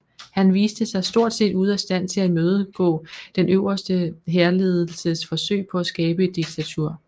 Han viste sig stort set ude af stand til at imødegå den øverste hærledelses forsøg på at skabe et diktatur